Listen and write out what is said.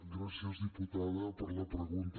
gràcies diputada per la pregunta